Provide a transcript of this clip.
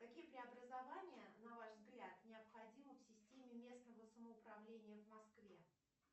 какие преобразования на ваш взгляд необходимы в системе местного самоуправления в москве